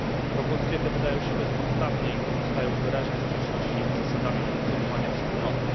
Propozycje te wydają się bezpodstawne i pozostają w wyraźnej sprzeczności z zasadami funkcjonowania Wspólnoty.